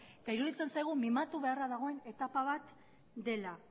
iruditzen zaigu mimatu beharra dagoen etapa bat dela